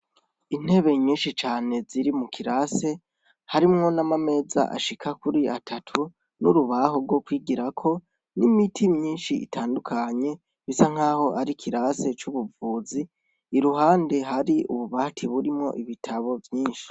Intebe nyinshi cane ziri mukirase ,harimwo n'amameza ashika kuri atatu, n'urubaho rwo kwigirako, n'imiti myinshi itandukanye bisa nkaho ari ikirase c'ubuvuzi, iruhande hari ububati burimwo ibitabo vyinshi.